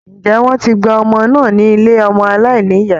Ǹjẹ́ wọ́n ti gba ọmọ náà ní ilé ọmọ aláìnìyá?